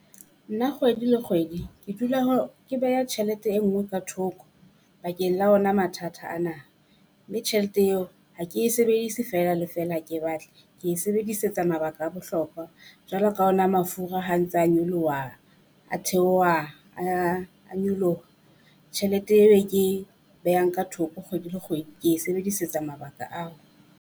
Nna kgwedi le kgwedi ke dula ho ke beha tjhelete e nngowe ka thoko bakeng la ona mathata ana, mme tjhelete eo ha ke e sebedise feela feela ke batla. Ke e sebedisetse mabaka a bohlokwa Jwalo ka ona mafura ha ntse nyoloha, a theoha, a a nyoloha tjhelete eo ke behang ka thoko kgwedi le kgwedi ke e sebedisetsa mabaka ao.